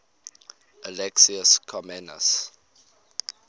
alexius comnenus